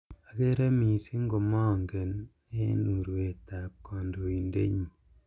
Akere missing komange eng urwetab kandoindetnyi